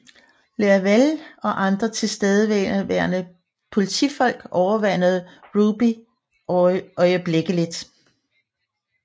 Leavelle og andre tilstedeværende politifolk overmandede Ruby øjeblikkeligt